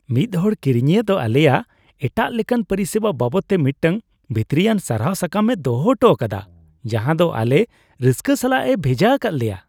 ᱢᱤᱫ ᱦᱚᱲ ᱠᱤᱨᱤᱧᱤᱭᱟᱹ ᱫᱚ ᱟᱞᱮᱭᱟᱜ ᱮᱴᱟᱜ ᱞᱮᱠᱟᱱ ᱯᱚᱨᱤᱥᱮᱵᱟ ᱵᱟᱵᱚᱫᱛᱮ ᱢᱤᱫᱴᱟᱝ ᱵᱷᱤᱛᱨᱤᱭᱟ ᱥᱟᱨᱦᱟᱣ ᱥᱟᱠᱟᱢ ᱮ ᱫᱚᱦᱚ ᱦᱚᱴᱚ ᱟᱠᱟᱫᱟ ᱡᱟᱦᱟᱸ ᱫᱚ ᱟᱞᱮ ᱨᱟᱹᱥᱠᱟᱹ ᱥᱟᱞᱟᱜ ᱮ ᱵᱷᱮᱡᱟ ᱟᱠᱟᱫ ᱞᱮᱭᱟ ᱾